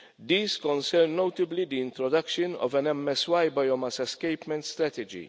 These concerned notably the introduction of an MSY biomass escapement strategy.